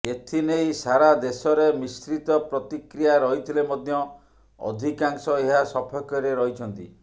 ଏଥିନେଇ ସାରା ଦେଶରେ ମିଶ୍ରିତ ପ୍ରତିକ୍ରିୟା ରହିଥିଲେ ମଧ୍ୟ ଅଧିକାଂଶ ଏହା ସପକ୍ଷରେ ରହିଛନ୍ତି